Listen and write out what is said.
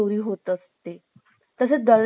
तसाच दरोडेखोर सुद्धा